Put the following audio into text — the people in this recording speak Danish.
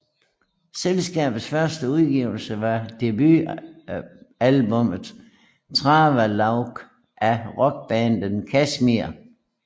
Selskabets første udgivelse var debutalbummmet Travelogue af rockbandet Kashmir